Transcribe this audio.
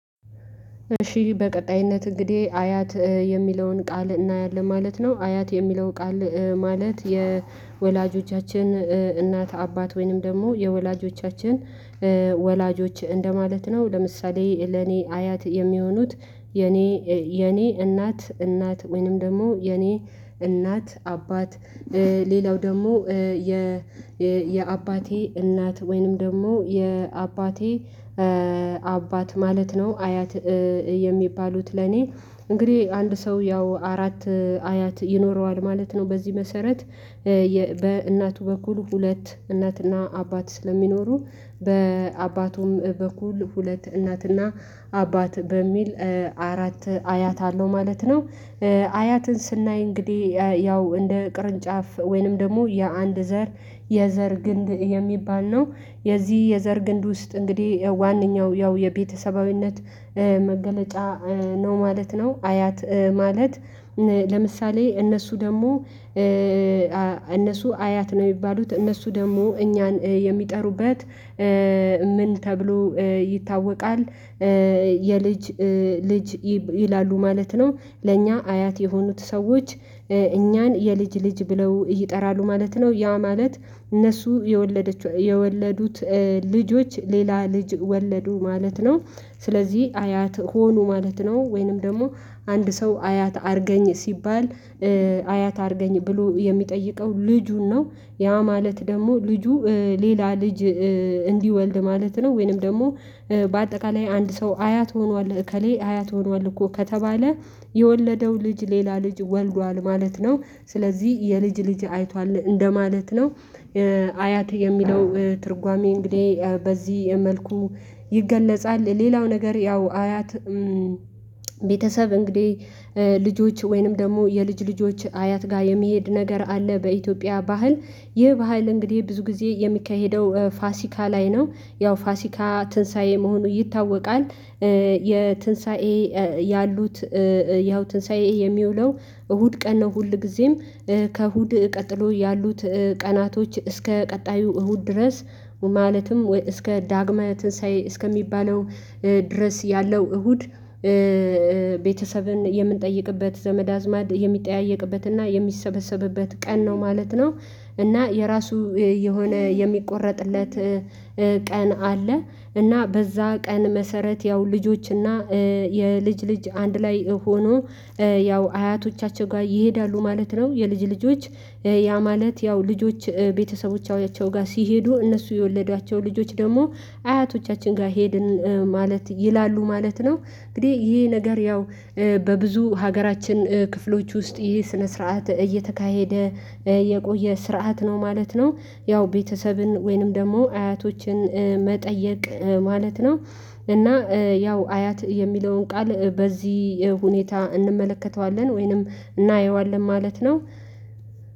እሺ በቀጣይነት እንግዲህ አያት የሚለውን ቃል እናያለን ማለት ነው። አያት የሚለው ቃል ማለት የወላጆቻችን እናት አባት ወይንም ደግሞ የወላጆቻችን ወላጆች እንደማለት ነው። ለምሳሌ ለኔ አያት የሚሆኑት የኔ እናት እናት ወይንም ደግሞ የኔ እናት አባት ሌላው ደግሞ የ የአባቴ እናት ወይንም ደግሞ የአባቴ አባት ማለት ነው። አያት የሚባሉት ለኔ እንግዲህ አንድ ሰው ያው አራት አያት ይኖረዋል ማለት ነው። በዚህ መሰረት በእናቱ በኩል ሁለት እናትና አባት ስለሚኖሩ በአባቱም በኩል ሁለት እናትና አባት በሚል አራት አያት አለው ማለት ነው። አያትን ስናይ እንግዲህ ያው እንደ ቅርንጫፍ ወይንም ደግሞ የአንድ ዘር የዘር ግንድ የሚባል ነው። የዚህ የዘር ግንድ ውስጥ እንግዲህ ዋንኛው ያው የቤተሰባዊነት መገለጫ ነው ማለት ነው። አያት ማለት ለምሳሌ እነሱ ደግሞ እነሱ አያት ነው የሚባሉት። እነሱ ደግሞ እኛን የሚጠሩበት ምን ተብሎ ይታወቃል የልጅ ልጅ ይላሉ ማለት ነው። ለእኛ አያት የሆኑት ሰዎች እኛን የልጅ ልጅ ብለው ይጠራሉ ማለት ነው። ያ ማለት እነሱ የወለደችው የወለዱት ልጆች ሌላ ልጅ ወለዱ ማለት ነው። ስለዚህ አያት ሆኖ ማለት ነው ወይንም ደግሞ አንድ ሰው አያት አርገኝ ሲባል አያት አድርገኝ ብሎ የሚጠይቀው ልጁን ነው። ያ ማለት ደግሞ ልጁ ሌላ ልጅ እንዲወልድ ማለት ነው፤ ወይንም ደግሞ በአጠቃላይ አንድ ሰው አያት ሆኗል እከሌ አያት ሆኗል እኮ ከተባለ የወለደው ልጅ ሌላ ልጅ ወልዷል ማለት ነው። ስለዚህ የልጅ ልጅ አይቷል እንደማለት ነው። አያት የሚለው ትርጓሜ እንግዲህ በዚህ መልኩ ይገለጻል። ሌላው ነገር ያው አያት ቤተሰብ እንግዲህ ልጆች ወይንም ደግሞ የልጅ ልጆች አያት ጋር የሚሄድ ነገር አለ። በኢትዮጵያ ባህል ይህ ባህል እንግዲህ ብዙ ጊዜ የሚካሄደው ፋሲካ ላይ ነው ያው ፋሲካ ትንሳኤ መሆኑ ይታወቃል የትንሳኤ ያሉት ያው ትንሳኤ የሚውለው እሁድ ቀን ነው ሁልጊዜም ከእሁድ ቀጥሎ ያሉት ቀናቶች እስከ ቀጣዩ እሁድ ድረስ ማለትም እስከ ዳግመ ትንሳኤ እስከሚባለው ድረስ ያለው እሁድ ቤተሰብን የምንጠይቅበት፤ ዘመድ አዝማድ የሚጠያየቅበትና የሚሰበሰብበት ቀን ነው ማለት ነው። እና የራሱ የሆነ የሚቆረጥለት ቀን አለ እና በዛ ቀን መሰረት ያው ልጆችና የልጅ ልጅ አንድ ላይ ሆኖ ያው አያቶቻቸው ጋር ይሄዳሉ ማለት ነው የልጅ ልጆች ያ ማለት ያው ልጆች ቤተሰቦቻቸው ጋር ሲሄዱ እነሱ የወለዷቸው ልጆች ደግሞ አያቶቻችን ጋር ሄድን ማለት ይላሉ ማለት ነው። እንግዲህ ይሄ ነገር ያው በብዙ ሀገራችን ክፍሎች ውስጥ ይሄ ስነ ስርዓት እየተካሄደ የቆየ ስርዓት ነው ማለት ነው። ያው ቤተሰብን ወይንም ደግሞ አያቶችን መጠየቅ ማለት ነው እና ያው አያት የሚለውን ቃል በዚህ ሁኔታ እንመለከተዋለን ወይንም እናየዋለን ማለት ነው።